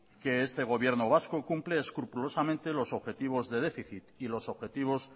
que este gobierno vasco cumple escrupulosamente los objetivos de déficit y los objetivos